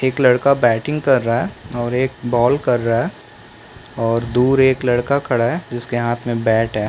एक लड़का बैटिंग कर रहा है और एक बॉल कर रहा है और दूर एक लड़का खड़ा हैं जिसके हाथ मे बैट हैं।